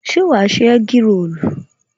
se wà ṣe egg rolu?